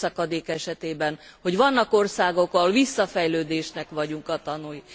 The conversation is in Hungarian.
a bérszakadék esetében, hogy vannak országok, ahol visszafejlődésnek vagyunk a tanúi.